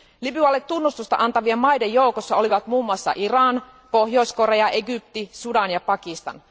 Libyalle tunnustusta antavien maiden joukossa olivat muun muassa Iran, Pohjois Korea, Egypti, Sudan ja Pakistan.